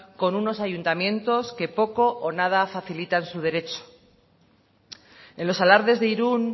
con unos ayuntamientos que poco o nada facilitan su derecho en los alardes de irún